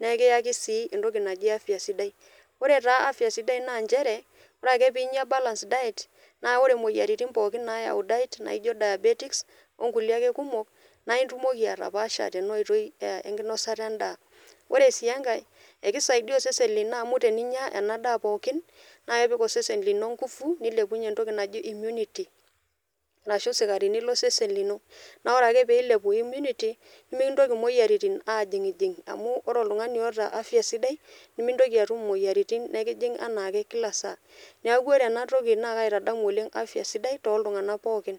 naa ekiyaki sii entoki najii afya sidai. Ore taa afya sidai naa inchere, ore ake piinya p balance diet naa ore imoyiarritin pookin naayau diet[cs[ naijo diabetis onkule ake kumok naa itumoki atapaasha tena oitoi enosata endaa, ore sii enkae ekeisaiya osesen lino amu teninya ena daa pookin na kepik osesen lino engufu, nepik ninye entoki najii immunity ashu sikarini lo sesen lino ,naa ore ake p[eilepu immunity nimikintoki moyiaritin ajing'jing' amuu oltungani oota afya sidai nimintoki atum moyiarritin nikijing' anaake kila saa, naaku ore enatoki naa kaitadamu oleng afya sidai too ltungana pookin.